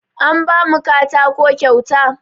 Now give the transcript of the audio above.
An ba mu katako kyauta.